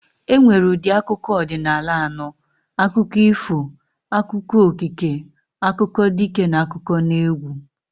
E nwere ụdị akụkọ ọdịnala anọ. Akụkọ ifo, akụkọ okike, akụkọ dike, n'akụkọneegwụ